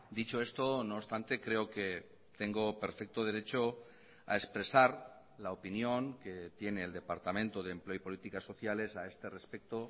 dicho esto no obstante creo que tengo perfecto derecho a expresar la opinión que tiene el departamento de empleo y políticas sociales a este respecto